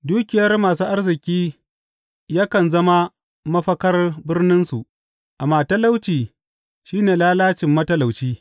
Dukiyar masu arziki yakan zama mafakar birninsu, amma talauci shi ne lalacin matalauci.